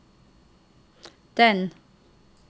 den